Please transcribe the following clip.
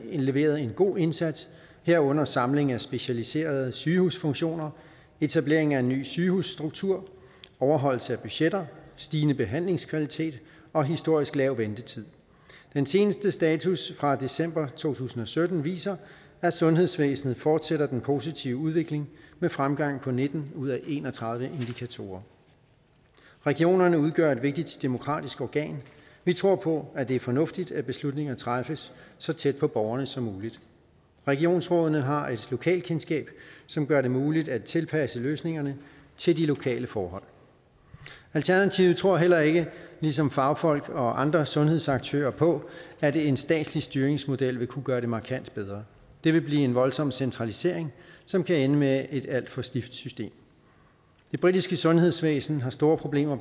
leveret en god indsats herunder samling af specialiserede sygehusfunktioner etablering af en ny sygehusstruktur overholdelse af budgetter stigende behandlingskvalitet og historisk lav ventetid den seneste status fra december to tusind og sytten viser at sundhedsvæsenet fortsætter den positive udvikling med fremgang på nitten ud af en og tredive indikatorer regionerne udgør et vigtigt demokratisk organ vi tror på at det er fornuftigt at beslutningerne træffes så tæt på borgerne som muligt regionsrådene har et lokalkendskab som gør det muligt at tilpasse løsningerne til de lokale forhold alternativet tror heller ikke ligesom fagfolk og andre sundhedsaktører på at en statslig styringsmodel vil kunne gøre det markant bedre det vil blive en voldsom centralisering som kan ende med et alt for stift system det britiske sundhedsvæsen har store problemer